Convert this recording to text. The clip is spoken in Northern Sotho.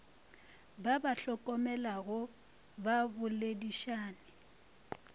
ba ba hlokomelago ba boledišane